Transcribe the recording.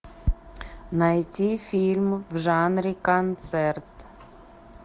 найти фильм в жанре концерт